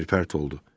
Kiver pərt oldu.